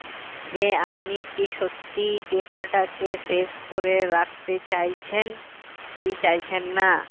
যে আপনি কি সত্যিই data টাকে save করে রাখতে চাইছেন কি চাইছেন না